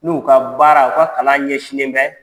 N'u ka baara u ka kalan ɲɛ sininen bɛɛ